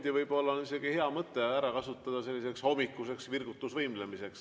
Ja võib-olla on hea mõte see pool tundi ära kasutada hommikuseks virgutusvõimlemiseks.